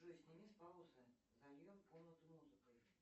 джой сними с паузы зальем комнату музыкой